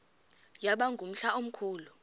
yaba ngumhla omkhulu